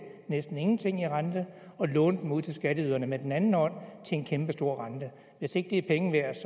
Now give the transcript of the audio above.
næsten ingenting i rente og låne dem ud til skatteyderne med den anden hånd til en kæmpestor rente hvis ikke det er penge værd